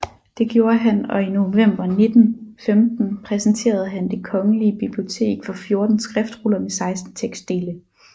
Det gjorde han og i november 1915 præsenterede han Det Kongelige Bibliotek for 14 skriftruller med 16 tekstdele